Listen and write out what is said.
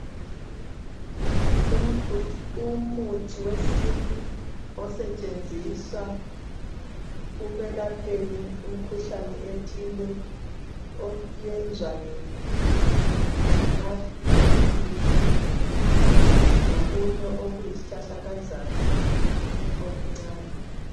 Umuthi wesintu osetshenziswa ukwelapheni imikuhlane ethile oyenzwa ngemapintshisi, ngokunye okuyisihlahlakazana okuncane.